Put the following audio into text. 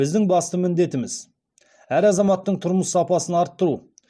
біздің басты міндетіміз әр азаматтың тұрмыс сапасын арттыру